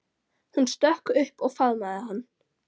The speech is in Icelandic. Hún stökk upp og faðmaði hann.